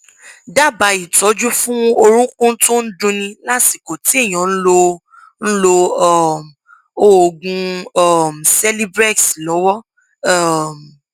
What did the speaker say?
dábàá ìtọjú fún orúnkún tó ń dunni lásìkò tí èèyàn ń lo ń lo um oògùn um celebrex lọwọ um